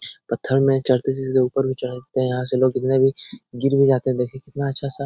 पत्थर में चढ़ते सीधे ऊपर भी चढ़ते है । यहाँ से लोग कितने भी गिर भी जाते है । देखिए कितना अच्छा-सा --